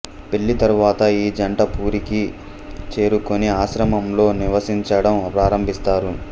పెళ్ళి తరువాత ఈ జంట పూరికి చేరుకుని ఆశ్రమంలో నివసించడం ప్రారంభిస్తారు